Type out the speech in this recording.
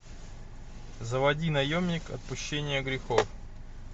заводи наемник отпущение грехов